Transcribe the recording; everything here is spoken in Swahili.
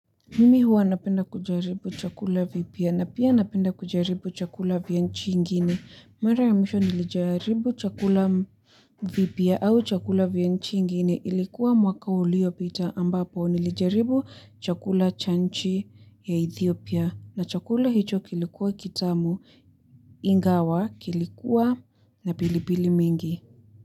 Mimi huwa napenda kujaribu chakula vipya na pia napenda kujaribu chakula vya nchi ingine. Mara ya misho nilijaribu chakula vipya au chakula vya nchi ingine ilikuwa mwaka uliopita ambapo nilijaribu chakula cha nchi ya Ethiopia na chakula hicho kilikuwa kitamu Ingawa kilikuwa na pilipili mingi.